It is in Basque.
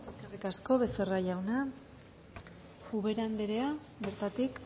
eskerrik asko becerra jauna ubera andrea bertatik